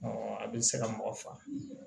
a bɛ se ka mɔgɔ faga